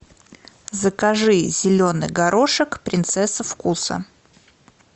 закажи зеленый горошек принцесса вкуса